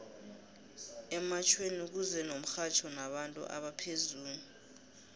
ematjhweni kuza nomxhatjho nabantu abaphezulu